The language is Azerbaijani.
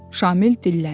Şamil dilləndi.